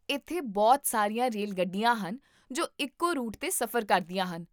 ਇੱਥੇ ਬਹੁਤ ਸਾਰੀਆਂ ਰੇਲ ਗੱਡੀਆਂ ਹਨ ਜੋ ਇੱਕੋ ਰੂਟ 'ਤੇ ਸਫ਼ਰ ਕਰਦੀਆਂ ਹਨ